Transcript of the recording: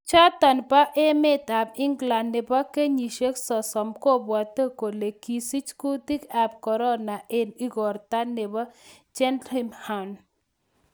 Chichoton bo emetab England nebo kenyisiek 30 kobwote kole kisich kutik ab Korona en igorto nebo Cheltenham.